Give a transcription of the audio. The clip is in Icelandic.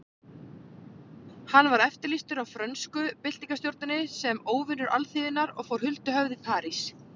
Hann var eftirlýstur af frönsku byltingarstjórninni sem óvinur alþýðunnar og fór huldu höfði í París.